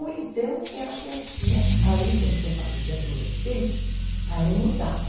Ou então eram festinhas, aí quando você fala de adolescente, aí mudava.